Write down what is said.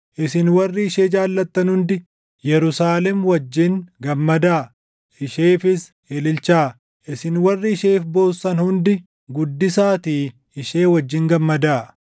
“Isin warri ishee jaallattan hundi, Yerusaalem wajjin gammadaa; isheefis ililchaa; isin warri isheef boossan hundi, guddisaatii ishee wajjin gammadaa.